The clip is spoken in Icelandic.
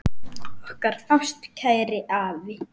Okkar ástkæri afi.